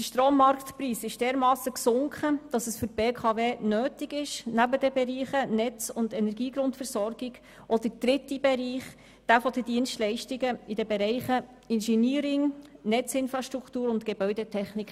Der Strommarktpreis ist derart gesunken, dass es für die BKW notwendig ist, neben den Bereichen Netz und Energiegrundversorgung auch den dritten Bereich zu stärken, die Dienstleistungen in den Bereichen Engineering, Netzinfrastruktur und Gebäudetechnik.